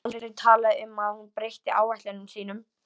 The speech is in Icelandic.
Það var aldrei talað um að hún breytti áætlunum sínum.